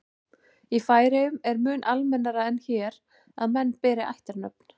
í færeyjum er mun almennara en hér að menn beri ættarnöfn